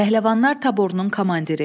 Pəhləvanlar taborunun komandiri.